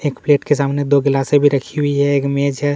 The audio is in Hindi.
एक प्लेट के सामने दो गिलसे भी रखी हुई है एक इमेज है।